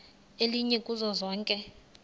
elinye kuzo zonke